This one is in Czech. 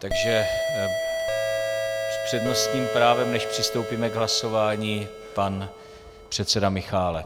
Takže s přednostním právem, než přistoupíme k hlasování, pan předseda Michálek.